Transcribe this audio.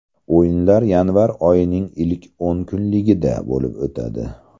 O‘yinlar yanvar oyining ilk o‘n kunligida bo‘lib o‘tadi.